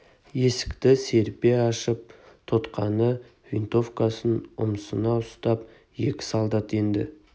есікті серпе ашып тұтқаны винтовкасын ұмсына ұстап екі солдат енді